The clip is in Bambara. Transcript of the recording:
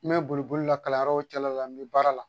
N bɛ boli boli la kalanyɔrɔ cɛla la n bɛ baara la